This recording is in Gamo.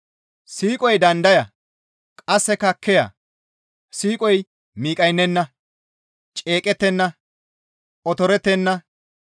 Siiqoy dandaya, qasseka kiya; siiqoy miqqaynenna; ceeqettenna; otorettenna;